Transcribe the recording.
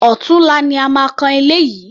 Ọ̀tunla ni a máa kan ilé yìí.